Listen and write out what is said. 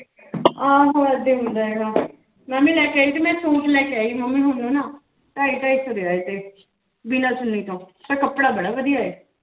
ਆਹੋ ਏਦਾਂ ਹੀ ਹੁੰਦਾ ਹੈਗਾ ਮੈਂ ਵੀ ਲੈ ਕੇ ਆਈ ਸੀ ਮੈਂ ਸੂਟ ਲੈ ਕੇ ਆਈ ਸੀ ਮੰਮੀ ਹੋਣੀ ਨਾ ਢਾਈ ਢਾਈ ਸੌ ਦੇ ਆਏ ਥੇ, ਬਿਨਾਂ ਚੁੰਨੀ ਤੋਂ ਪਰ ਕੱਪੜਾ ਬੜਾ ਵਧੀਆ ਹੈ।